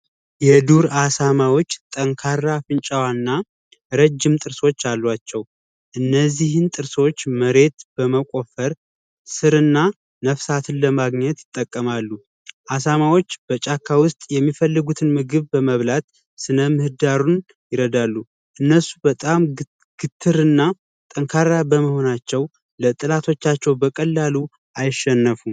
የዱር አሳማዎች ጠንካራ አፍንጫና ረጅም ጥርሶች አሏቸው። እነዚህን ጥርሶች መሬት በመቆፈር ስር እና ነፍሳትን ለማግኘት ይጠቀማሉ። አሳማዎች በጫካ ውስጥ የሚፈልጉትን ምግብ በመብላት ሥነ ምህዳሩን ይረዳሉ። እነሱ በጣም ግትር እና ጠንካራ በመሆናቸው ለጠላቶቻቸው በቀላሉ አልሸነፉም።